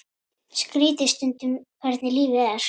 Skrítið stundum hvernig lífið er.